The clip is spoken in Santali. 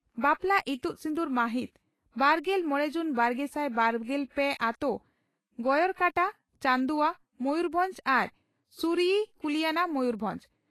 ᱵᱟᱯᱞᱟ ᱤᱛᱩᱫ ᱥᱤᱸᱫᱩᱨ ᱢᱟᱹᱦᱤᱛ ,ᱵᱟᱨᱜᱮᱞ ᱢᱚᱲᱮ ᱡᱩᱱ ᱵᱟᱨᱜᱮᱥᱟᱭ ᱵᱟᱨᱜᱮᱞ ᱯᱮ ᱟᱹᱛᱳ ᱺ ᱜᱚᱭᱚᱲᱠᱟᱴᱟ, ᱪᱟᱹᱱᱫᱩᱣᱟᱹ, ᱢᱚᱭᱩᱨᱵᱷᱚᱸᱡᱽ ᱟᱨ ᱥᱩᱭᱨᱤ, ᱠᱩᱞᱤᱭᱟᱱᱟ, ᱢᱚᱭᱩᱨᱵᱷᱚᱸᱡᱽ ᱾